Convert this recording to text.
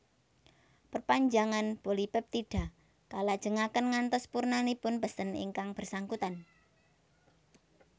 Perpanjangan polipeptida kalajengaken ngantos purnanipun pesen ingkang bersangkutan